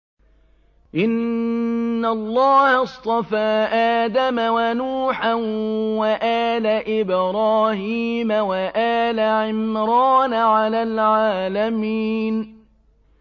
۞ إِنَّ اللَّهَ اصْطَفَىٰ آدَمَ وَنُوحًا وَآلَ إِبْرَاهِيمَ وَآلَ عِمْرَانَ عَلَى الْعَالَمِينَ